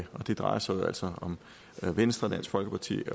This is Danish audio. og det drejer sig jo altså om venstre dansk folkeparti